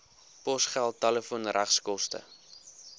posgeld telefoon regskoste